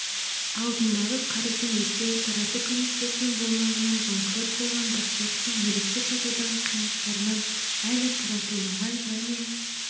алдындағы қарызын өтеу тарату комиссиясының болмауынан банкрот болған басшылықтың мүлікті сатудағы қиындықтарынан әлі таратылмаған және